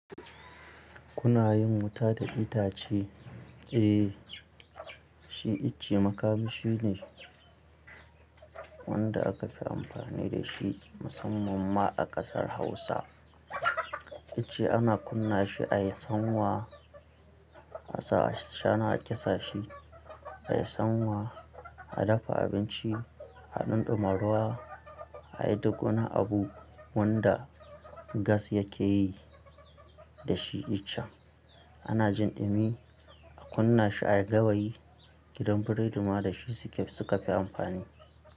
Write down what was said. Kuna yin wuta da itace? Eh, shi ice makamishi ne wanda aka fi amfani da shi musamman ma a ƙasar Hausa. Itace ana kunna shi a yi sanwa a sa ashana a ƙyasta she, a yi sanwa, a dafa abinci, a ɗumɗuma ruwa, a yi duk wani abu wanda gas yake yi da shi itace. Ana jin ɗumi, a kunna shi a gawayi. Gidan biredi ma da shi suke suka fi amfani.